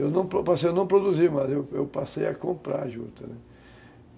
Eu não passei a não produzi, mas eu passei a comprar juta, né.